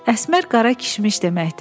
Əsmər qara kişmiş deməkdir.